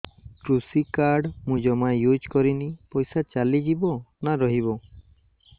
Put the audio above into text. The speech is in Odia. କୃଷି କାର୍ଡ ମୁଁ ଜମା ୟୁଜ଼ କରିନି ପଇସା ଚାଲିଯିବ ନା ରହିବ